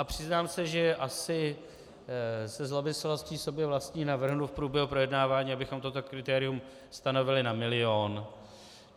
A přiznám se, že asi se zlomyslností sobě vlastní navrhnu v průběhu projednávání, abychom toto kritérium stanovili na milion.